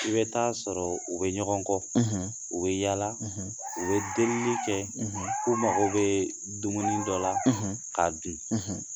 I bɛ taa sɔrɔ u bɛ ɲɔgɔn kɔ, u bɛ yala u bɛ delili kɛ u mago bɛ dumuni dɔ la k'a dun